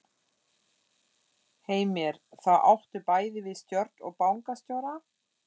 Heimir: Þá áttu bæði við stjórn og bankastjóra?